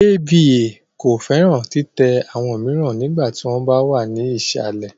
Ava ko fẹran titẹ awọn miiran nigba ti wọn wa ni isalẹ